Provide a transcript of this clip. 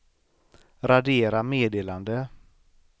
radera meddelande